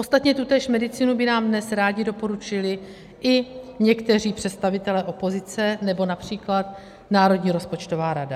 Ostatně tutéž medicínu by nám dnes rádi doporučili i někteří představitelé opozice nebo například Národní rozpočtová rada.